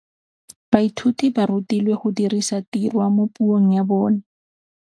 Baithuti ba rutilwe go dirisa tirwa mo puong ya bone.